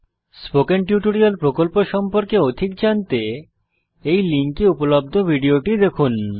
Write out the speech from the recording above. spoken tutorial প্রকল্প সম্পর্কে অধিক জানতে এই লিঙ্কে উপলব্ধ ভিডিওটি দেখুন